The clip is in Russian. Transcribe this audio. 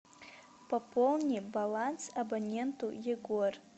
пополни баланс абоненту егор